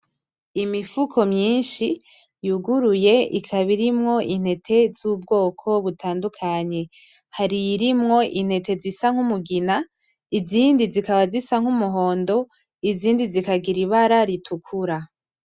Imifuko myinshi yuguruye ikaba irimwo intete z'ubwoko butandukanye, hari iyirimwo intete zisa nk'umugina izindi zikaba zisa nk'umuhondo, izindi zikagira ibara ritukura .